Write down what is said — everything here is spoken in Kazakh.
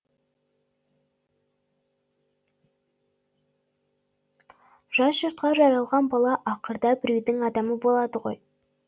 жат жұртқа жаралған бала ақырда біреудің адамы болады ғой